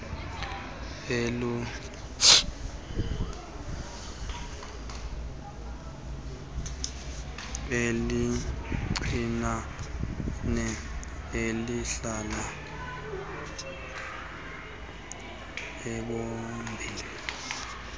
elincinane elihla ethobhini